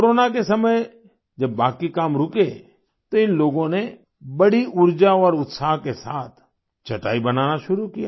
corona के समय जब बाकी काम रुके तो इन लोगों ने बड़ी ऊर्जा और उत्साह के साथ चटाई बनाना शुरू किया